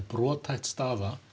brothætt staða